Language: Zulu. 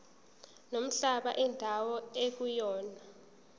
nomhlaba indawo ekuyona